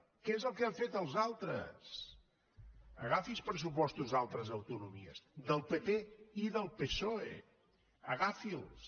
què és el que han fet els altres agafi pressupostos d’al tres autonomies del pp i del psoe agafi’ls